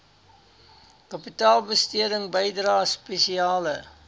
kapitaalbesteding bydrae spesiale